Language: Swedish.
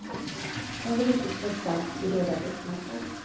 Hon vill inte strö salt i redan öppna sår.